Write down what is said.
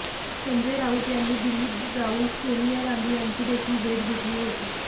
संजय राऊत यांनी दिल्लीत जावून सोनिया गांधी यांची देखील भेट घेतली होती